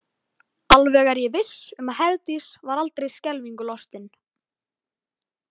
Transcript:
Alveg er ég viss um að Herdís var aldrei skelfingu lostin.